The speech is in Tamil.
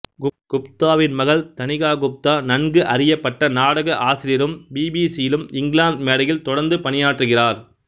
குப்தாவின் மகள் தனிகா குப்தா நன்கு அறியப்பட்ட நாடக ஆசிரியரும் பிபிசியிலும் இங்கிலாந்து மேடையில் தொடர்ந்து பணியாற்றுகிறார்